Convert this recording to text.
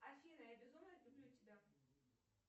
афина я безумно люблю тебя